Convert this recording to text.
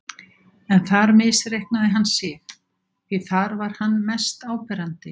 En þar misreiknaði hann sig, því þar var hann mest áberandi.